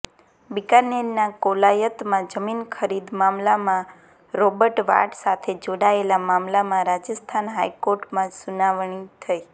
બીકાનેરના કોલાયતમાં જમીન ખરીદ મામલામાં રોબર્ટ વાડ્રા સાથે જોડાયેલા મામલામાં રાજસ્થાન હાઈકોર્ટમાં સુનાવણી થઈ